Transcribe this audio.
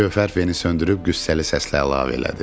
Gövhər feni söndürüb qüssəli səslə əlavə elədi.